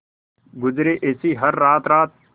गुजरे ऐसी हर रात रात